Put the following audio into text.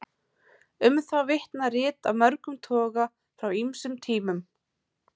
Um það vitna rit af mörgum toga frá ýmsum tímum.